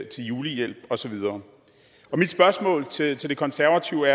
julehjælp og så videre mit spørgsmål til det konservative